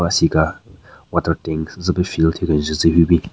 Asika water tank zu pe fill thyu kenjün tsü hyu bin.